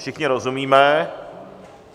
Všichni rozumíme.